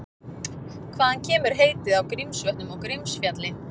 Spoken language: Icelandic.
Hvaðan kemur heitið á Grímsvötnum og Grímsfjalli?